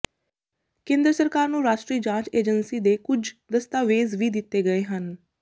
ਕੇਂਦਰ ਸਰਕਾਰ ਨੂੰ ਰਾਸ਼ਟਰੀ ਜਾਂਚ ਏਜੰਸੀ ਦੇ ਕੁੱਝ ਦਸਤਾਵੇਜ਼ ਵੀ ਦਿਤੇ ਗਏ ਹਨ